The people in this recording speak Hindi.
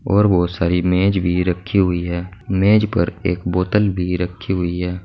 और बहुत सारी मेज भी रखी हुई है मेज पर एक बोतल भी रखी हुई है।